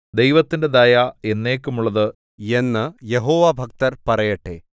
ദൈവത്തിന്റെ ദയ എന്നേക്കുമുള്ളത് എന്ന് യഹോവാഭക്തർ പറയട്ടെ